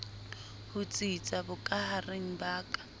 ho tsitsa bokahareng ba ka